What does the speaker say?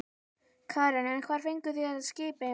Karen: En hvar fenguð þið þetta skip eiginlega?